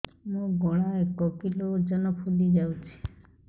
ମୋ ଗଳା ଏକ କିଲୋ ଓଜନ ଫୁଲି ଯାଉଛି